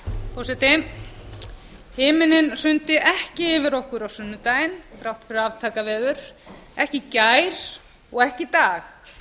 forseti himinn hrundi ekki yfir okkur á sunnudaginn þrátt fyrir aftakaveður ekki í gær og ekki í dag